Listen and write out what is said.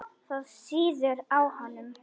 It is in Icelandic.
Það sýður á honum.